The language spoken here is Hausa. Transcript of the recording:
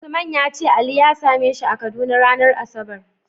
Usman yace ali ya same shi a kaduna ranar asabar